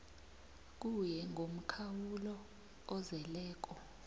kuye ngomkhawulo ozeleko